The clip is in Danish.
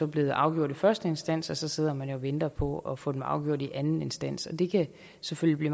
blevet afgjort i første instans og så sidder man og venter på at få dem afgjort i anden instans og det kan selvfølgelig